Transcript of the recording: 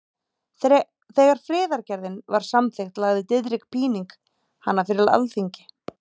Þegar friðargerðin var samþykkt lagði Diðrik Píning hana fyrir Alþingi.